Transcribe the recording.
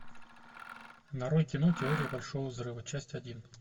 нарой кино теория большого взрыва часть один